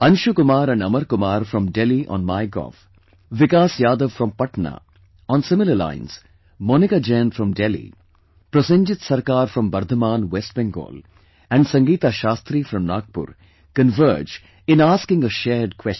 Anshu Kumar & Amar Kumar from Delhi on Mygov, Vikas Yadav from Patna; on similar lines Monica Jain from Delhi, Prosenjit Sarkar from Bardhaman, West Bengal and Sangeeta Shastri from Nagpur converge in asking a shared question